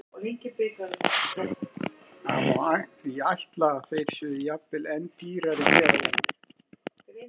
Það má því ætla að þeir séu jafnvel enn dýrari hér á landi.